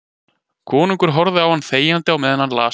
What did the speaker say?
Konungur horfði á hann þegjandi á meðan hann las